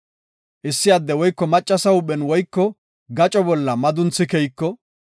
“Issi addey woyko maccasa huuphen woyko gaco bolla madunthi keyiko,